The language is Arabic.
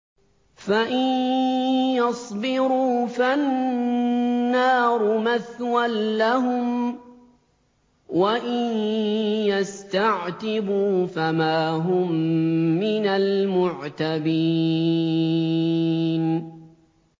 فَإِن يَصْبِرُوا فَالنَّارُ مَثْوًى لَّهُمْ ۖ وَإِن يَسْتَعْتِبُوا فَمَا هُم مِّنَ الْمُعْتَبِينَ